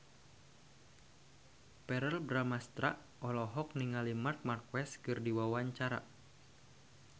Verrell Bramastra olohok ningali Marc Marquez keur diwawancara